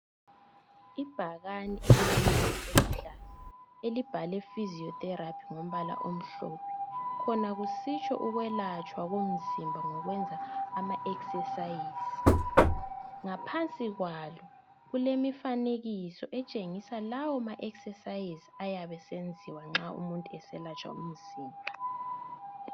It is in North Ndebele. Ibhakani elilombala oluhlaza elibhalwe (Physiotherapy) ngombala omhlophe khona kusitsho ukwelatshwa komzimba ngokwenza ama exercise. Ngaphansi kwalo kulemifanekiso etshengisa lawo ma exercise ayabesenziwa nxa umuntu eselatshwa umzimba.